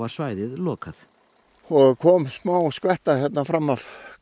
svæðið lokað það kom smá skvetta hér fram á